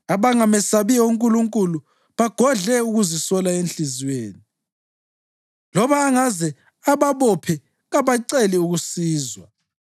Abangamesabiyo uNkulunkulu bagodle ukusola enhliziyweni; loba angaze ababophe kabaceli ukusizwa.